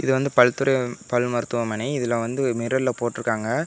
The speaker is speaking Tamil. இது வந்து பல்துறை பல் மருத்துவமனை இதுல வந்து ஒரு மிர்ரர்ல போட்ருக்காங்க.